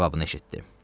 cavabını eşitdi.